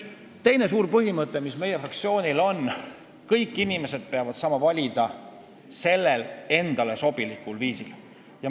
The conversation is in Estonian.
Teine tähtis põhimõte, mis meie fraktsioonil on: kõik inimesed peavad saama valida endale sobilikul viisil.